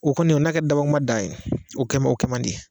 O kɔni o na kɛ dabɔkuma dan ye, o kɛmo o kaman di.